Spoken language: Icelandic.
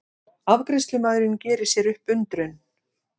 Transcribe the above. Afgreiðslumaðurinn gerir sér upp undrun.